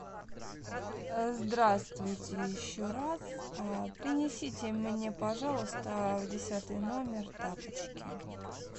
здравствуйте еще раз принесите мне пожалуйста в десятый номер тапочки